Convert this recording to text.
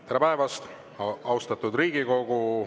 Tere päevast, austatud Riigikogu!